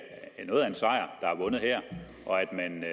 vundet her og at man